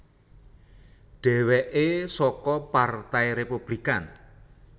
Dhèwèké saka Partai Républikan